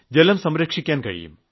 ജലം സംരക്ഷിക്കാൻ കഴിയും